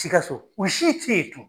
Sikasso u si te ye tun.